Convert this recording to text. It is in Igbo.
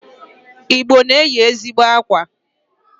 Igbo na-eyi ezigbo akwa.